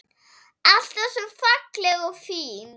Alltaf svo falleg og fín.